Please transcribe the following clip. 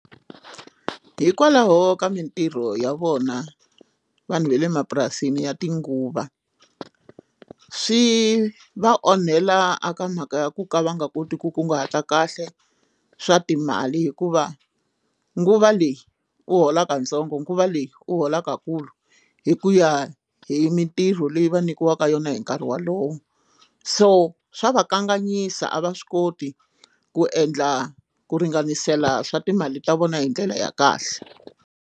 Hikwalaho ka mintirho ya vona vanhu va le mapurasini ya tinguva swi va onhela a ka mhaka ya ku ka va nga koti ku kunguhata kahle swa timali hikuva nguva leyi u holaka ntsongo nguva leyi u holaka kulu hi ku ya hi mintirho leyi va nyikiwaka yona hi nkarhi wolowo so swa va kanganyisa a va swi koti ku endla ku ringanisela swa timali ta vona hi ndlela ya kahle.